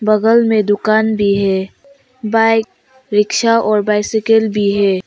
बगल में दुकान भी है बाइक रिक्शा और बाइसिकिल भी है।